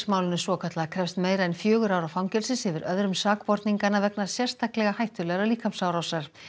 málinu svokallaða krefst meira en fjögurra ára fangelsis yfir öðrum sakborninganna vegna sérstaklega hættulegrar líkamsárásar